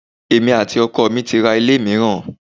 Èmi àti ọkọ mi ti ra ilé mìíràn.